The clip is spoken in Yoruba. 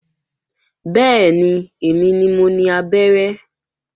Bẹ́ẹ̀ni, èmi ni mo ni abẹ́rẹ́